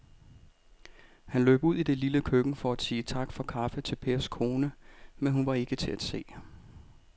Han løb ud i det lille køkken for at sige tak for kaffe til Pers kone, men hun var ikke til at se.